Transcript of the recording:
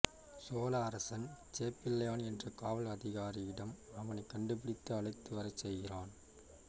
சோழ அரசன் சேப்பிளையான் என்ற காவல் அதிகாரியிடம் அவனை கண்டுபிடித்து அழைத்துவர செய்கிறான்